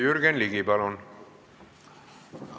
Jürgen Ligi, palun!